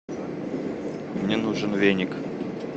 мне нужен веник